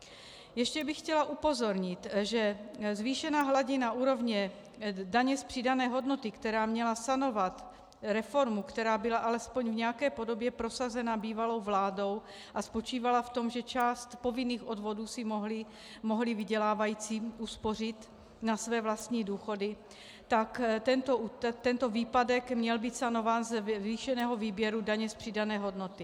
Ještě bych chtěla upozornit, že zvýšená hladina úrovně daně z přidané hodnoty, která měla sanovat reformu, která byla alespoň v nějaké podobě prosazena bývalou vládou a spočívala v tom, že část povinných odvodů si mohli vydělávající uspořit na své vlastní důchody, tak tento výpadek měl být sanován ze zvýšeného výběru daně z přidané hodnoty.